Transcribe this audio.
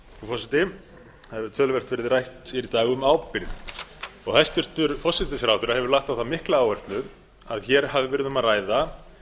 hefur töluvert verið rætt hér í dag um ábyrgð hæstvirts forsætisráðherra hefur lagt á það mikla áherslu að hér hafi verið um að ræða